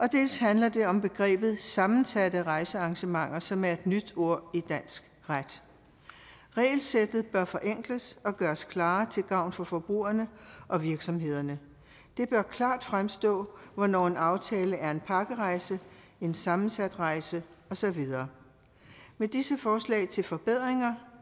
dels handler det om begrebet sammensatte rejsearrangementer som er et nyt ord i dansk ret regelsættet bør forenkles og gøres klarere til gavn for forbrugerne og virksomhederne det bør klart fremstå hvornår en aftale er en pakkerejse en sammensat rejse og så videre med disse forslag til forbedringer